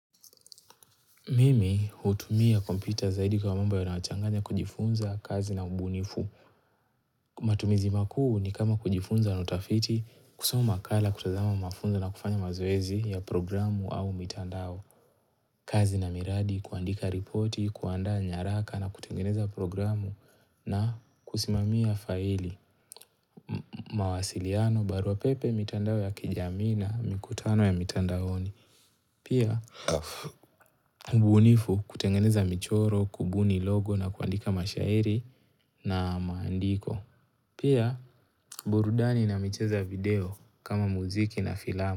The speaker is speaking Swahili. Mimi hutumia kompyuta zaidi kwa mambo yanayochanganya kujifunza kazi na ubunifu. Matumizi makuu ni kama kujifunza na utafiti kusoma makala kutazama mafunzo na kufanya mazoezi ya programu au mitandao. Kazi na miradi kuandika ripoti, kuandaa nyaraka na kutengeneza programu na kusimamia faili. Mawasiliano, barua pepe, mitandao ya kijamii na mikutano ya mitandaoni. Pia, ubunifu kutengeneza michoro, kubuni logo na kuandika mashairi na maandiko. Pia, burudani na michezo ya video kama muziki na filama.